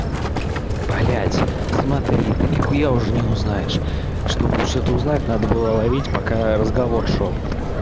блять смотри ты нихуя уже не узнаешь чтобы что-то узнать надо было ловить пока разговор шёл